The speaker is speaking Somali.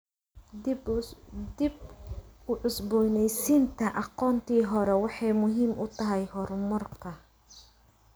Dib u cusboonaysiinta aqoontii hore waxay muhiim u tahay horumarka.